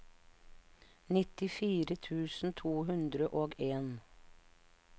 nittifire tusen to hundre og en